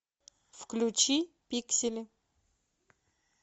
включи пиксели